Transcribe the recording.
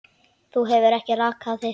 Þú hefur ekki rakað þig.